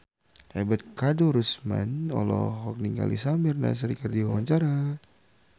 Ebet Kadarusman olohok ningali Samir Nasri keur diwawancara